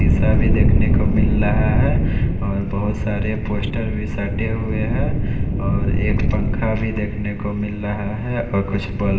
शिशा भी देखने को मिल रहा है और बहोत सारे पोस्टर भी सटे हुए हैं और एक पंखा भी देखने को मिल रहा है और कुछ बल्ब --